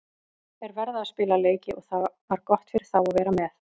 Þeir verða að spila leiki og það var gott fyrir þá að vera með.